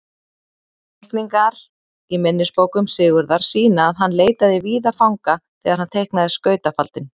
Teikningar í minnisbókum Sigurðar sýna að hann leitaði víða fanga þegar hann teiknaði skautafaldinn.